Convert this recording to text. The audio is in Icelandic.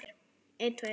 Eiríkur Hreinn.